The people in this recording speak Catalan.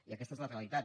i aquesta és la realitat